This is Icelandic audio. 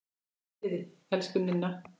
Far í friði, elsku Ninna.